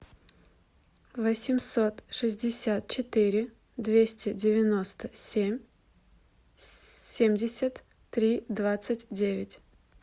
восемьсот шестьдесят четыре двести девяносто семь семьдесят три двадцать девять